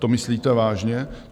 To myslíte vážně?